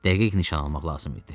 Dəqiq nişan almaq lazım idi.